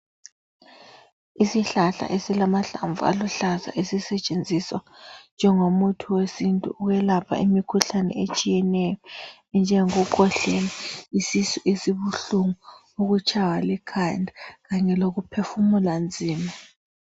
Isihlahla esilamahlamvu aluhlaza esisetshenziswa njengomuthi wesintu uyelapha imikhuhlane etshiyeneyo njengokukwehlela, isisu esibuhlungu, ukutshaywa likhanda kanye lokuphefumula nzima